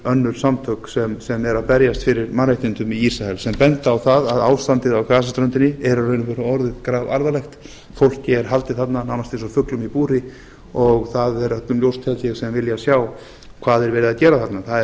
önnur samtök sem eru að berjast fyrir mannréttindum í ísrael sem benda á það að ástandið á gasaströndinni er í raun og veru orði grafalvarlegt fólki er haldið þarna nánast eins og fuglum í búri og það er öllum ljóst held ég sem vilja sjá hvað er verið að gera þarna